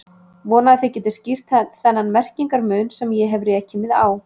Vona að þið getið skýrt þennan merkingar mun sem ég hef rekið mig á.